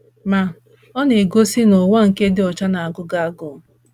Ma, ọ na - egosi na ụwa nke dị ọcha na - agụ gị agụụ.